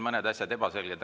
Mõned asjad on veel ebaselged.